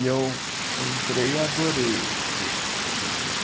E eu entrei e adorei o curso que eu tive com ele.